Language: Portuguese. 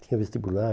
Tinha vestibular.